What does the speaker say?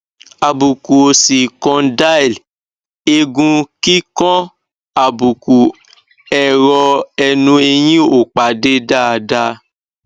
àbùkù òsì condyle egun kikanàbùkù ẹrọ ẹnu eyin o pade daadaa